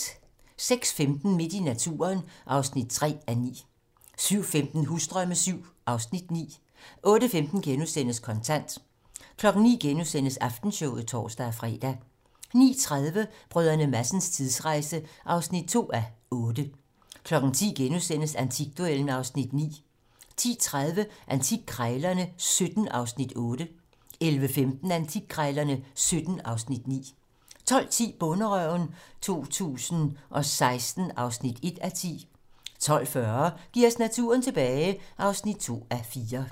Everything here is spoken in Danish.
06:15: Midt i naturen (3:9) 07:15: Husdrømme VII (Afs. 9) 08:15: Kontant * 09:00: Aftenshowet *(tor-fre) 09:30: Brdr. Madsens tidsrejse (2:8) 10:00: Antikduellen (Afs. 9)* 10:30: Antikkrejlerne XVII (Afs. 8) 11:15: Antikkrejlerne XVII (Afs. 9) 12:10: Bonderøven 2016 (1:10) 12:40: Giv os naturen tilbage (2:4)